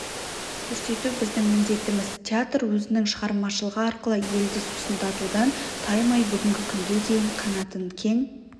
көрсету біздің міндетіміз театр өзінің шығармашылығы арқылы елді сусындатудан таймай бүгінгі күнге дейін қанатын кең